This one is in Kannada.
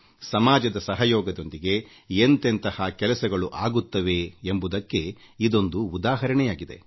ಸಮಾಜದ ಸಹಯೋಗದೊಂದಿಗೆ ಎಂತೆಂಥಹ ಕೆಲಸಗಳು ಆಗುತ್ತವೆ ಎಂಬುದಕ್ಕೆ ಇದೊಂದು ಉದಾಹರಣೆ ಮಾತ್ರ